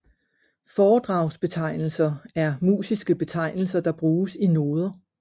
Foredragsbetegnelser er musiske betegnelser der bruges i noder